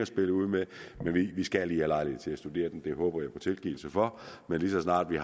spillet ud med men vi skal lige have lejlighed til at studere den det håber jeg at få tilgivelse for men lige så snart vi